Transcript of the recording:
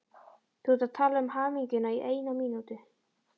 Þú átt að tala um hamingjuna í eina mínútu.